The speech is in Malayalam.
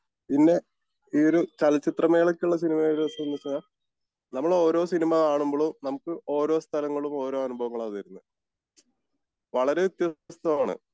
പിന്നെ ഈ ഒരു ചലച്ചിത്ര മേളക്ക് ഉള്ള സിനിമകൾ നമ്മൾ ഓരോ സിനിമ കാണുമ്പോളും നമുക്ക് ഓരോ സ്ഥലങ്ങളും ഓരോ അനുഭവങ്ങളാ വരുന്നേ. വളരേ വ്യത്യസ്തമാണ്